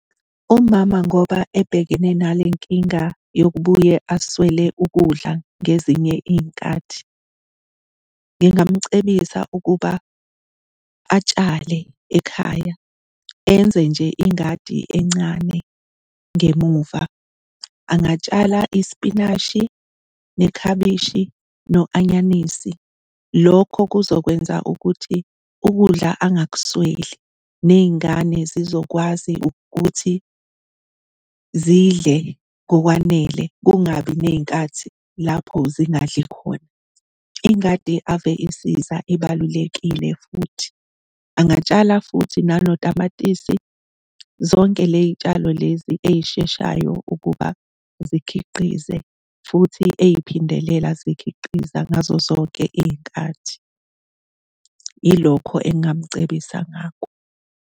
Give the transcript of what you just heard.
Umama ngoba ebhekene nale nkinga yokubuye aswele ukudla ngezinye iy'nkathi, ngingamcebisa ukuba atshale ekhaya, enze nje ingadi encane ngemuva, angatshala isipinashi nekhabishi no-anyanisi. Lokho kuzokwenza ukuthi ukudla angakusweli, ney'ngane zizokwazi ukuthi zidle ngokwanele, kungabi ney'nkathi lapho zingadli khona. Ingadi ave isiza, ibalulekile futhi. Angatshala futhi nanotamatisi, zonke le y'tshalo lezi ey'sheshayo ukuba zikhiqize, futhi ey'phindelela zikhiqiza ngazo zonke iy'nkathi. Ilokho engingmucebisa ngako.